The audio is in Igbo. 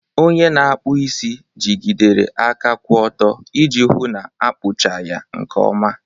onye na-akpụ isi jigidere aka kwụ ọtọ iji hụ na akpụcha ya nke ọma.